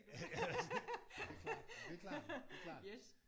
Ja men det er klart det er klart det er klart